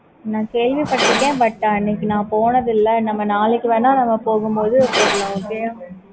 நான் கேள்விபட்டருக்கேன் ஆனா but நான் போனதே இல்ல